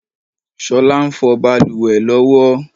Ṣolá ń fọ bàlùwẹ̀ ló wo.